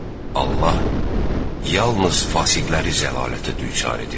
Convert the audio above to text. Allah yalnız fasiqləri zəlalətə düçar edir.